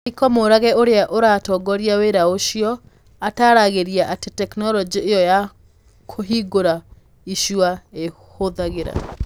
Michael Murage ũrĩa ũratongoria wĩra ũcio, ataaragĩria atĩ tekinolonjĩ ĩyo ya kũhingũra icua ĩhũthagĩra